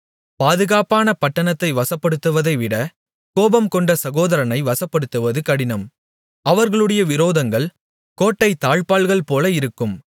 பாதுகாப்பான பட்டணத்தை வசப்படுத்துவதைவிட கோபம்கொண்ட சகோதரனை வசப்படுத்துவது கடினம் அவர்களுடைய விரோதங்கள் கோட்டைத் தாழ்ப்பாள்கள்போல இருக்கும்